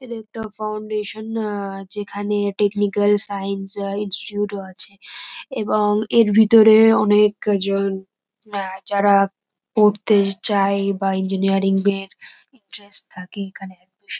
এখেনে একটা ফাউন্ডেশন আ যেখানে টেকনিক্যাল সায়েন্স আ ইন্সিটিউট -ও আছে এবং এর ভিতরে অনেক-জন আ যারা পড়তে চায় বা ইঞ্জিনেয়ারিং -এর ইন্টারেস্ট থাকে এখানে এডমিশন --